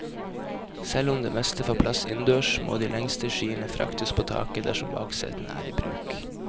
Selv om det meste får plass innendørs, må de lengste skiene fraktes på taket dersom baksetene er i bruk.